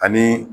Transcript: Ani